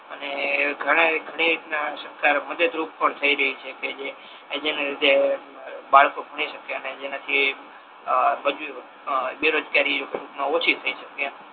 અને ઘણી રીતના સરકાર મદદ રૂપ પણ થઈ રહી છે કે કે જેને કે બ બાળકો ભણી શકે અને જેનાથી આ બ બેરોજગારી એ ઓછી થઈ શકે એમ